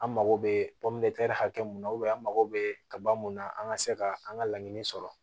An mago bɛ hakɛ mun na an mago bɛ kaba mun na an ka se ka an ka laɲini sɔrɔ